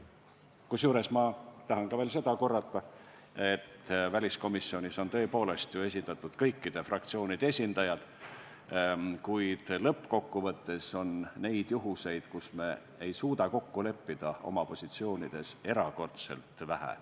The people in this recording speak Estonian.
Kusjuures ma tahan korrata ka veel seda, et väliskomisjonis on ju tõepoolest kõikide fraktsioonide esindajad, kuid lõppkokkuvõttes on neid juhtumeid, kui me ei suuda oma positsioonides kokku leppida, erakordselt vähe.